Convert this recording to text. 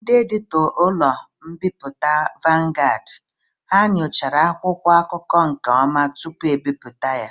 Ndị editọ ụlọ mbipụta Vanguard ha nyochara akwụkwọ akụkọ nke ọma tupu ebipụta ya?